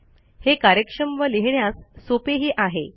हे कार्यक्षम व लिहिण्यास सोपेही आहे